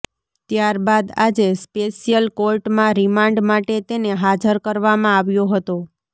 ત્યારબાદ આજે સ્પેશિયલ કોર્ટમાં રિમાન્ડ માટે તેને હાજર કરવામાં આવ્યો હતો